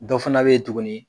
Dɔ fana be ye tuguni